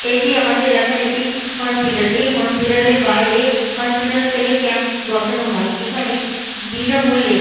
এটি আমাদের এলাকার একটি হসপিটাল । এই হসপিটাল -এর বাইরে হসপিটাল থেকে ক্যাম্প বসানো হয়। এখানে বিনামূল্যে --